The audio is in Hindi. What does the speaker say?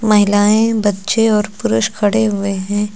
महिलाएं बच्चे और पुरुष खड़े हुए हैं।